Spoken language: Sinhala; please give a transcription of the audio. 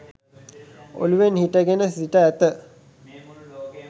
ඔලුවෙන් සිටගෙන සිට ඇත.